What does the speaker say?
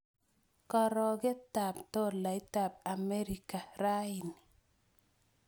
Karogetap tolaitap Amerika raini